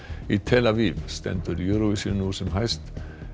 í tel Aviv stendur Eurovision nú sem hæst